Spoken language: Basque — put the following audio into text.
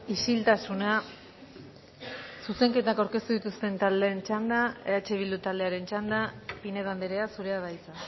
isiltasuna zuzenketak aurkeztu dituzten taldeen txanda eh bildu taldearen txanda pinedo andrea zurea da hitza